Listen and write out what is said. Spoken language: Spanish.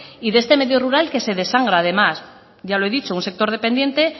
y de este medio rural que se desangra además ya lo he dicho un sector dependiente